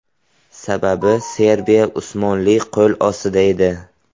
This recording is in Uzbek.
Sababi, Serbiya Usmonli qo‘l ostida edi.